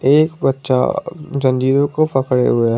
एक बच्चा जंजीरों को पकड़े हुए--